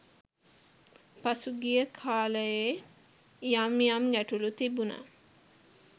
පසුගිය කාලයේ යම් යම් ගැටළු තිබුණා.